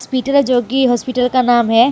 Peter Jogi hospital का नाम है।